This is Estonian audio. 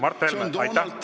Mart Helme, aitäh!